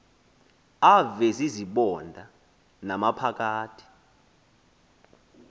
avezi zibonda namaphakathi